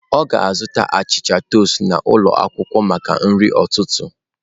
Ọ ga-azụta achịcha toast n'ụlọ akwụkwọ maka nri ụtụtụ.